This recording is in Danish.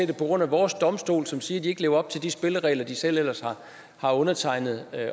på grund af vores domstole som siger at landet ikke lever op til de spilleregler det selv ellers har undertegnet at